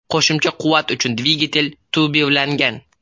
Qo‘shimcha quvvat uchun dvigatel turbirlangan.